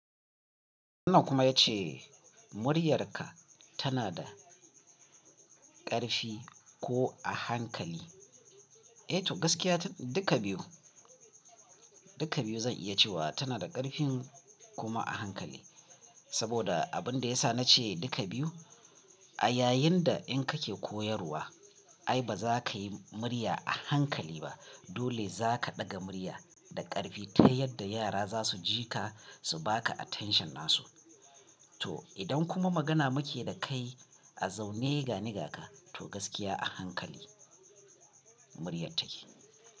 Wannan kuma ya ce muryarka tana da ƙarfi ko a hankali? Eh gaskiya duka biyu, duka biyu zan iya cewa tana da ƙarfi kuma a hankali. Saboda abin da ya sa na ce duka biyu a yayin da in kake koyarwa ai ba za ka yi murya a hankali ba. Dole za ka ɗaga murya da ƙarfi ta yadda yara za su ji ka su baka attention nasu. To idan kuma magana muke da kai a zaune ga nigaka to gaskiya a hankali muryar take.